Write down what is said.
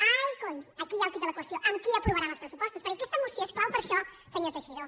ai coi aquí hi ha el quid de la qüestió amb qui aprovaran els pressu·postos perquè aquesta moció és clau per això senyor teixidó